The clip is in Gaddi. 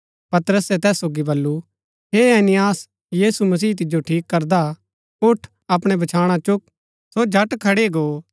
पतरसे तैस सोगी बल्लू हे ऐनियास यीशु मसीह तिजो ठीक करदा उठ अपणै बछाणा चुक सो झट खड़ी गो